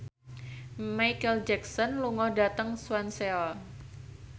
Micheal Jackson lunga dhateng Swansea